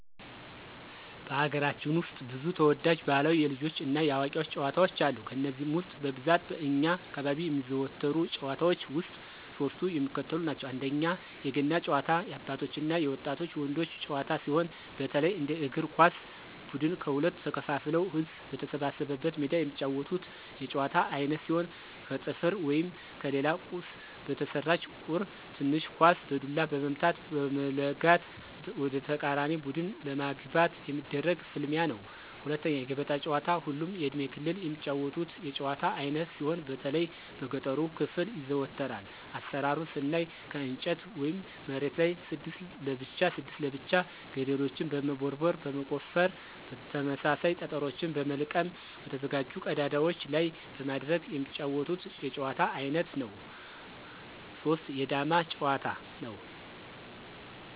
በሀገራችን ውስጥ ብዙ ተወዳጅ ባህላዊ የልጆች እና የአዋቂዎች ጨዋታዎች አሉ። ከነዚህም ውስጥ በብዛት በእኛ አካባቢ የሚዘወተሩ ጭዋታዎች ውስጥ ሶስቱ የሚከተሉትን ናቸው፦ 1=የገና ጨዋታ- የአባቶች እና የወጣት ወንዶች ጨዋታ ሲሆን፣ በተለይ እንደ እግር ኳስ ብድን ከሁለት ተከፋፍለው ህዝብ በተሰበሰበበት ሜዳ የሚጫወቱት የጨዋታ አይነት ሲሆን ከጠፍር ወይም ከሌላ ቁስ በተሰራች ቁር (ትንሽ ኳስ) በዱላ በመምታት(በመለጋት) ወደተቃራኒ ቡድን ለማግባት የሚደረግ ፍልሚያ ነው። 2=የገበጣ ጨዋታ ሁሉም የእድሜ ክልል የሚጫወቱት የጭዋታ አይነት ሲሆን በተለይ በገጠሩ ክፍል ይዘወተራል። አሰራሩን ስናይ ከእንጨት ወይም መሬቱ ላይ 6 ለብቻ 6 ለብቻ ገደልችን በመቦርቦር (በመቆፈር) ተመሳሳይ ጠጠሮችን በመልቀም በተዘጋጁ ቀዳዳዎች ላይ በማድረግ የሚጫወቱት የጨዋታ አይነት ነው። 3=የዳማ ጭዋታ; ነው።